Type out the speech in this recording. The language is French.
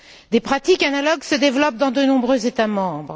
Des pratiques analogues se développent dans de nombreux États membres.